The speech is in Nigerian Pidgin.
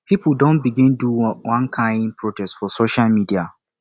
pipo don begin dey do one kain protest for social media